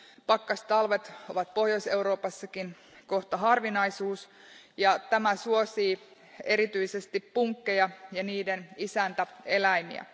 Pakkastalvet ovat Pohjois Euroopassakin kohta harvinaisuus ja tämä suosii erityisesti punkkeja ja niiden isäntäeläimiä.